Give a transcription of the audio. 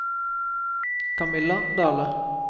Camilla Dahle